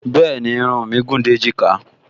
Bẹ́ẹ̀ni, irun mí gùn dé èjìká